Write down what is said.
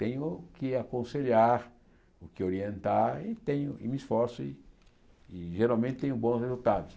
Tenho o que aconselhar, o que orientar e tenho e me esforço e e geralmente tenho bons resultados.